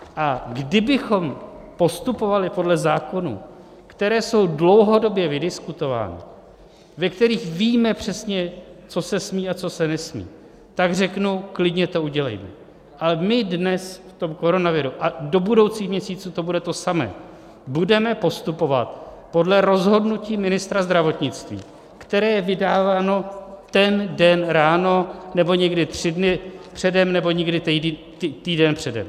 A kdybychom postupovali podle zákonů, které jsou dlouhodobě vydiskutovány, ve kterých víme přesně, co se smí a co se nesmí, tak řeknu "klidně to udělejme", ale my dnes v tom koronaviru, a do budoucích měsíců to bude to samé, budeme postupovat podle rozhodnutí ministra zdravotnictví, které je vydáváno ten den ráno, nebo někdy tři dny předem, nebo někdy týden předem.